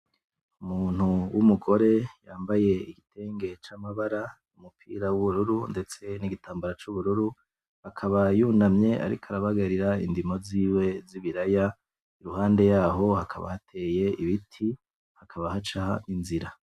Umuntu w'umugore yambaye igitenge c'amabara, umupira w'ubururu ndetse n'igitambara c'ubururu akaba yunamye ariko arabagarira indimo ziwe z'ibiraya, ruhande yaho hakaba hateye ibiti hakaba haca inzira.